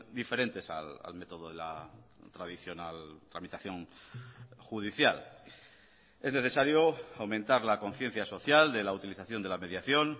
diferentes al método de la tradicional tramitación judicial es necesario aumentar la conciencia social de la utilización de la mediación